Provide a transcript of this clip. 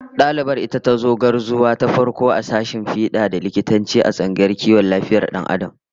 Dalibar ita tazo gwarzuwa ta farko a sashen fida da likitanci, a tsangayar kiwon lafiyar Dan Adam